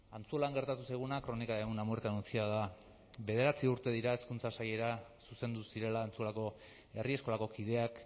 antzuolan gertatu zaiguna crónica de una muerte anunciada da bederatzi urte dira hezkuntza sailera zuzendu zirela antzuolako herri eskolako kideak